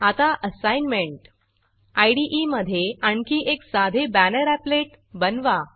आता assignment IDE मधे आणखी एक साधे बॅनर एपलेट बनवा